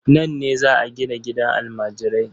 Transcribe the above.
Nan ne za a gina gidan almajirai.